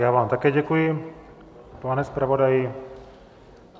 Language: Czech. Já vám také děkuji, pane zpravodaji.